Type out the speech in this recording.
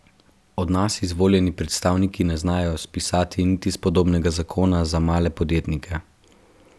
Od nas izvoljeni predstavniki ne znajo spisati niti spodobnega zakona za male podjetnike.